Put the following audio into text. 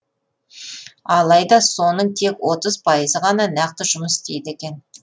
алайда соның тек отыз пайызы ғана нақты жұмыс істейді екен